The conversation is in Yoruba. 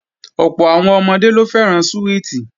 Ọ̀pọ̀ àwọn ọmọdé ló fẹ́ràn súwìtì